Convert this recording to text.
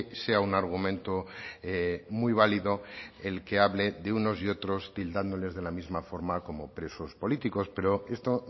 sea un argumento muy válido el que hable de unos y otros tildándoles de la misma forma como presos políticos pero esto